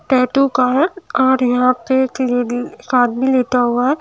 tattoo का हैं और यहां पे एक आदमी लेटा हुआ--